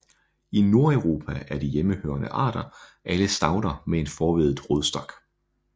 I Nordeuropa er de hjemmehørende arter alle stauder med en forveddet rodstok